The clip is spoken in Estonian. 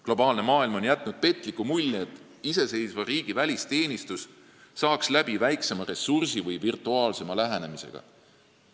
Globaliseeruv maailm on jätnud petliku mulje, et iseseisva riigi välisteenistus saaks läbi väiksema ressursi või virtuaalsema lähenemisega.